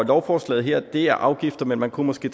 lovforslaget her er afgifter men man kunne måske